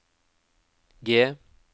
G